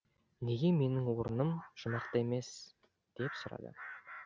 неге менің орыным жұмақта емес деп сұрады